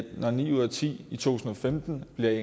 når ni ud af ti i to tusind og femten vil